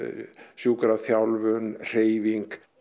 sjúkraþjálfun hreyfing